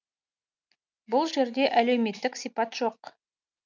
бұл жерде әлеуметтік сипат жоқ